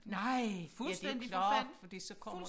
Nej ja det klart fordi så kommer